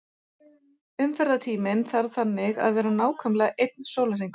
Umferðartíminn þarf þannig að vera nákvæmlega einn sólarhringur.